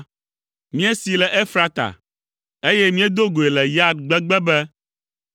Míesee le Efrata, eye míedo goe le Yaar gbegbe be,